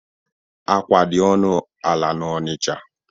Akwa dị ọnụ ala n'Onicha